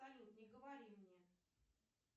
салют не говори мне